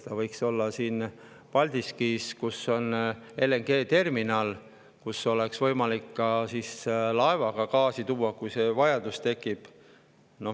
See võiks olla siin Paldiskis, kus on LNG-terminal, kuhu oleks võimalik ka laevaga gaasi tuua, kui see vajadus tekib.